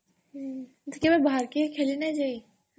ହଁ ଏମତି କେବେ ବାହାର କେ ଖେଲି ନି ଯାଇ?